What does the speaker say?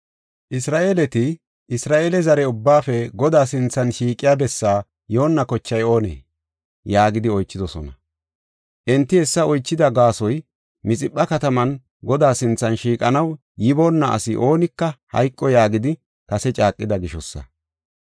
Isra7eeleti, “Isra7eele zare ubbaafe Godaa sinthan shiiqiya bessaa yoonna kochay oonee?” yaagidi oychidosona. Enti hessa oychida gaasoy, “Mixipha kataman Godaa sinthan shiiqanaw yiboona asi oonika hayqo” yaagidi kase caaqida gishosa.